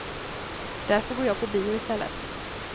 Därför går jag på bio istället.